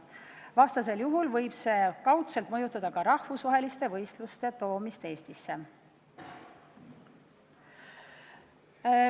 Vastasel juhul võib see kaudselt mõjutada ka rahvusvaheliste võistluste toomist Eestisse.